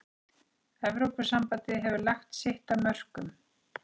Evrópusambandið hefur lagt sitt af mörkum.